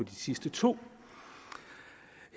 de sidste to